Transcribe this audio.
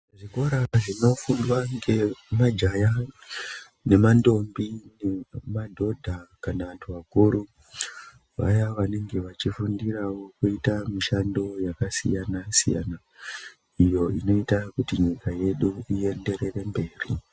Zvikora zvinofundwa ngemajaya ngemandombi kana madhodha kana vantu vakuru vaya vanenge vachifundirawo kuita mishando yakasiyana siyana iyo inoita kuti nyika yedu iyenderere mberi.